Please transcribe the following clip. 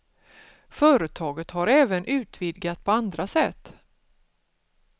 Företaget har även utvidgat på andra sätt.